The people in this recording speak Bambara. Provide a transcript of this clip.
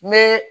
Me